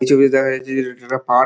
এই ছবিতে দেখা যাচ্ছে যে এটা একটা পার্ক ।